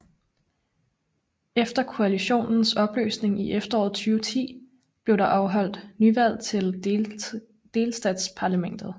Efter koalitionens opløsning i efteråret 2010 blev der afholdt nyvalg til delstatsparlamentet